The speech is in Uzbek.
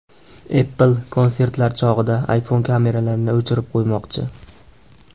Apple konsertlar chog‘ida iPhone kameralarini o‘chirib qo‘ymoqchi.